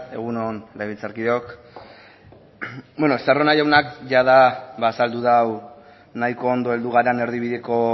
egun on legebiltzarkideok estarrona jaunak jada azaldu du nahiko ondo heldu garen erdibideko